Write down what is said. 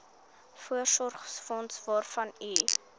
voorsorgsfonds waarvan u